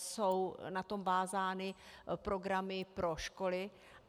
Jsou na to vázány programy pro školy.